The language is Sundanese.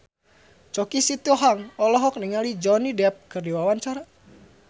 Choky Sitohang olohok ningali Johnny Depp keur diwawancara